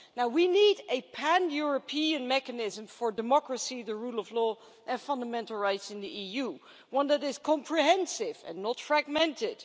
We need a pan European mechanism for democracy, the rule of law and fundamental rights in the EU that is comprehensive and not fragmented